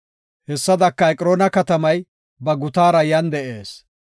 Hessadaka, Eqroona katamay ba gutaara yan de7ees.